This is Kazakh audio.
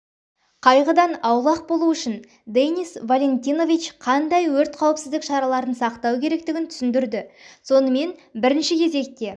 қайғыдан аулақ болу үшін денис валентинович қандай өрт қауіпсіздік шараларын сақтау керектігін түсіндірді сонымен бірінші кезекте